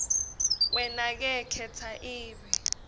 wenake khetsa ibe